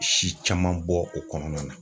Si caman bɔ o kɔnɔna na